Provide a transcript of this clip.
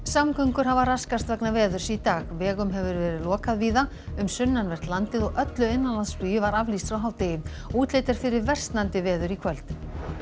samgöngur hafa raskast vegna veðurs í dag vegum hefur verið lokað víða um sunnanvert landið og öllu innanlandsflugi var aflýst frá hádegi útlit er fyrir versnandi veður í kvöld